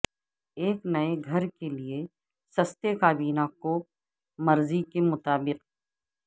ایک نئے گھر کے لئے سستے کابینہ کوپ مرضی کے مطابق